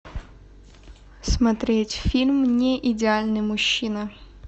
смотреть фильм неидеальный мужчина